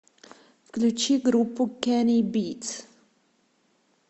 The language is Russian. включи группу кенни битс